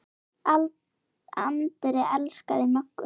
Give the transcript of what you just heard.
Andri elskaði Möggu.